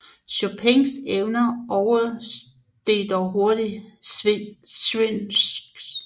Chopins evner oversteg dog hurtigt Żywnys